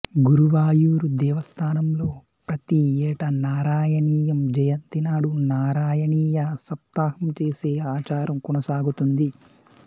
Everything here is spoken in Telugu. గురువాయూరు దేవస్థానంలో ప్రతి ఏటా నారాయణీయం జయంతి నాడు నారాయణీయ సప్తాహం చేసే ఆచారం కొనసాగుతోంది